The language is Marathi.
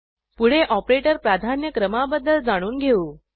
पुढे ऑपरेटर प्राधान्यक्रमाबद्दल जाणून घेऊ